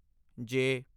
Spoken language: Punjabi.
ਜੇ